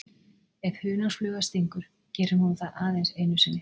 Ef hunangsfluga stingur gerir hún það aðeins einu sinni.